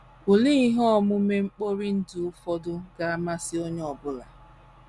Olee ihe omume mkpori ndụ ụfọdụ ga - amasị onye ọ bụla? ’